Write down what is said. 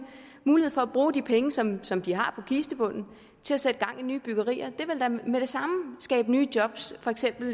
mulighed for at bruge de penge som som de har på kistebunden til at sætte gang i nye byggerier det ville da med det samme skabe nye job for eksempel